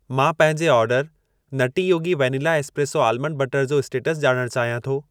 मां पंहिंजे order Nutty Yogi vanilla espresso almond butter जो स्टेटस ॼाणण चाहियां थो।